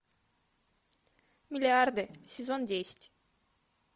миллиарды сезон десять